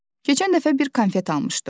Keçən dəfə bir konfet almışdım.